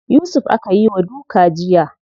Yusuf aka yi wa duka jiya.